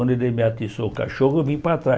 Quando ele me atiçou o cachorro, eu vim para trás.